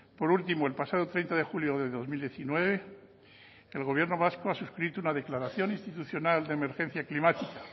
por último el pasado treinta de julio de dos mil diecinueve el gobierno vasco ha suscrito una declaración institucional de emergencia climática